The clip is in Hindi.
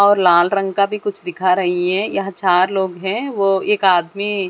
और लाल रंग का भी कुछ दिखा रही है यहां चार लोग हैं वो एक आदमी--